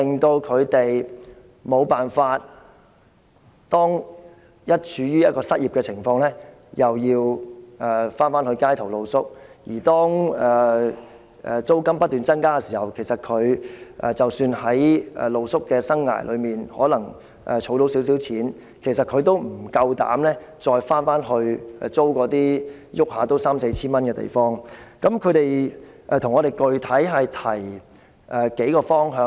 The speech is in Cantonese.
當他們處於一個失業的情況，便要到街頭露宿；而當租金不斷增加，即使他們在露宿生涯中可能儲到一點錢，他們也不敢租住動輒要三四千元租金的地方。